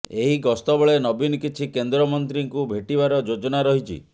ଏହି ଗସ୍ତବେଳେ ନବୀନ କିଛି କେନ୍ଦ୍ରମନ୍ତ୍ରୀଙ୍କୁ ଭେଟିବାର ଯୋଜନା ରହିଛି